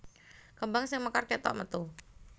Kembang sing mekar kétok metu